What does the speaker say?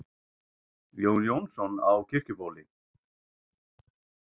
Jón Jónsson á Kirkjubóli